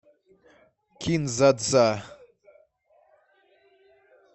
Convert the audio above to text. кин дза дза